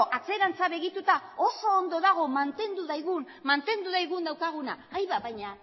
atzerantza begiratuta oso ondo dago mantendu dezagun daukaguna baina